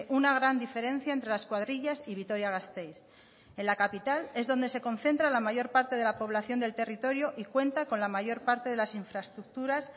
una gran diferencia entre las cuadrillas y vitoria gasteiz en la capital es donde se concentra la mayor parte de la población del territorio y cuenta con la mayor parte de las infraestructuras